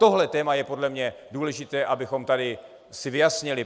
Tohle téma je podle mě důležité, abychom si tady vyjasnili.